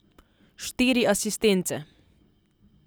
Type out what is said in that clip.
Štiri asistence.